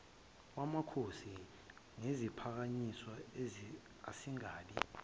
wamakhosi neziphakanyiswa asingabi